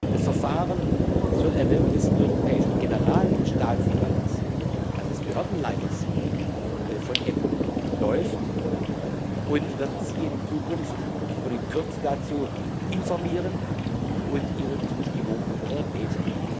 Das Verfahren zur Ernennung des Europäischen Generalstaatsanwalts, also des Behördenleiters von EPPO, läuft, und wir werden Sie in Zukunft und in Kürze dazu informieren und Ihre Zustimmung erbitten.